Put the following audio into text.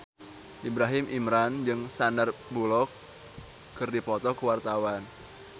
Ibrahim Imran jeung Sandar Bullock keur dipoto ku wartawan